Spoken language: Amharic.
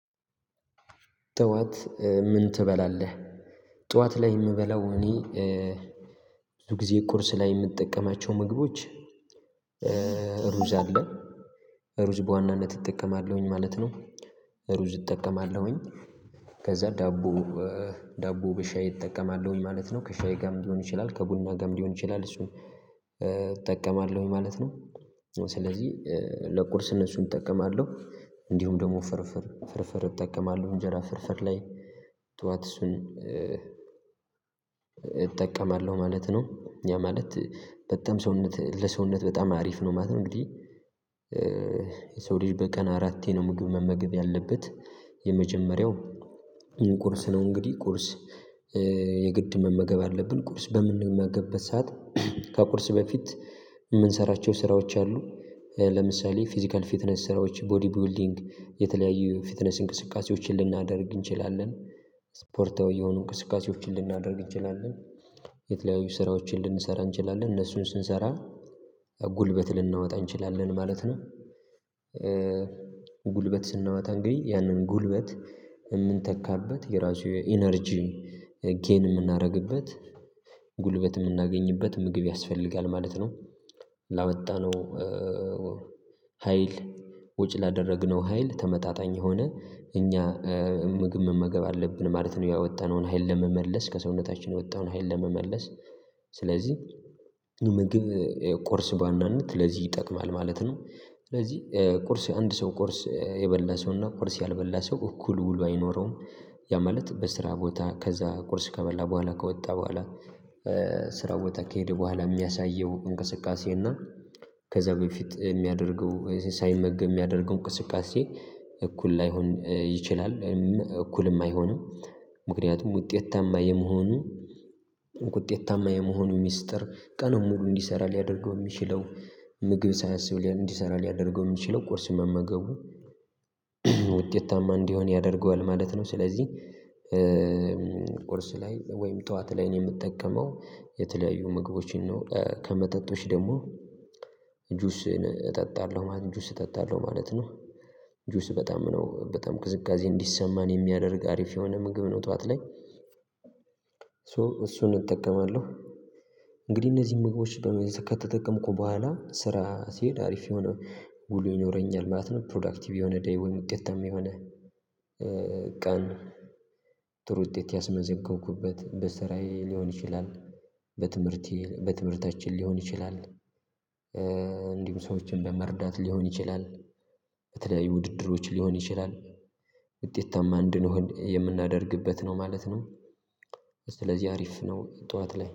ጠዋት ምን ትበላለህ? ጠዋት ላይ የምበላው እኔ ብዙ ጊዜ ቁርስ ላይ የምትጠቀማቸው ምግቦች ሩዝ አለ ሩዝ በዋናነት እጠቀማለሁኝ ማለት ነው። ሩዝ እጠቀማለሁኝ ከዛ ዳቦ ዳቦ በሻይ እጠቀማለሁኝ ማለት ነው ከሻይ ጋርም ሊሆን ይችላል ከጉና ጋርም ሊሆን ይችላል እሱን እጠቀማለሁኝ ማለት ነው። ስለዚህ ለቁርስ እነሱን እጠቀማለሁ እንዲሁም ደግሞ ፍርፍር ፍርፍር እጠቀማለሁ እንጀራ ፍርፍር ላይ ጠዋት እሱን እጠቀማለሁ ማለት ነው ያ ማለት በጣም ሰውነት ለሰውነት በጣም አሪፍ ነው ማለት ነው እንግዲህ። ሰው ልጅ በቀን አራቴ ነው ምግብ መመገብ ያለበት የመጀመሪያው ይህን ቁርስ ነው እንግዲህ ቁርስ የግድ መመገብ አለብን ቁርስ በምንመገበት ሰዓት ከቁርስ በፊት የምንሰራቸው ስራዎች አሉ ለምሳሌ ፊዚካል ፊትነስ ስራዎች ቦዲ ቦልዲንግ የተለያዩ ፊትነስ እንቅስቃሴዎችን ልናደርግ እንችላለን ስፖርታዊ የሆኑ እንቅስቃሴዎችን ልናደርግ እንችላለን የተለያዩ ስራዎችን ልንሰራ እንችላለን እነሱን ስንሰራ ጉልበት ልናወጣ እንችላለን ማለት ነው። ጉልበት ስናወጣ እንግዲህ ያንን ጉልበት የምንተካበት የራሱ ኢነርጂ ጌን የምናደርግበት ጉልበት የምናገኝበት ምግብ ያስፈልጋል ማለት ነው ላወጣነው ሀይል ወጪ ላደረግነው ሀይል ተመጣጣኝ የሆነ እኛ ምግብ መመገብ አለብን ማለት ነው። ያወጣነውን ሀይል ለመመለስ ከሰውነታችን የወጣውን ሀይል ለመመለስ ስለዚህ ምግብ ቁርስ በአንዳንድ ለዚህ ይጠቅማል ማለት ነው ስለዚህ ቁርስ አንድ ሰው ቁርስ የበላ ሰውና ቁርስ ያልበላ ሰው እኩል ውሎ አይኖረውም። ያ ማለት በስራ ቦታ ከዛ ቁርስ ከበላ በኋላ ከወጣ በኋላ ስራው ወጣ ከሄደ በኋላ የሚያሳየው እንቅስቃሴ እና ከዛ በፊት የሚያደርገው ሳይመገብ የሚያደርገው እንቅስቃሴ እኩል ላይሆን ይችላል እኩልም አይሆንም ምክንያቱም ውጤታማ የመሆኑ ውጤታማ የመሆኑ ሚስጥር ቀኑን ሙሉ እንዲሰራ ሊያደርገው የሚችለው ምግብ ሳይንስብ ሊያደርገው የሚችለው ቁርስ መመገቡ ውጤታማ እንዲሆን ያደርገዋል ማለት ነው። ስለዚህ ቁርስ ላይ ወይም ጠዋት ላይ ነው የምጠቀመው የተለያዩ ምግቦችን ነው ከመጠጦች ደግሞ ጁስ እጠጣለሁ ማለት ጁስ እጠጣለሁ ማለት ነው። ጁስ በጣም ነው በጣም ቅዝቃዜ እንዲሰማን የሚያደርግ አሪፍ የሆነ ምግብ ነው ጠዋት ላይ። ሶ እሱን እጠቀማለሁ እንግዲህ እነዚህን ምግቦች በመዘከተ ተጠቀምኩ በኋላ ስራ ሲሄድ አሪፍ የሆነ ጉልህ ይኖረኛል ማለት ነው ፕሮዳክቲቭ የሆነ ደይውል ውጤት የሚሆነ ቀን ጥሩ ውጤት ያስመዘንከንኩበት በስራዬ ሊሆን ይችላል። በትምህርት በትምህርታችን ሊሆን ይችላል እንዲሁም ሰዎችን በመርዳት ሊሆን ይችላል በተለያዩ ውድድሮች ሊሆን ይችላል ውጤታማ እንድንሆን የምናደርግበት ነው ማለት ነው። ስለዚህ አሪፍ ነው ጠዋት ላይ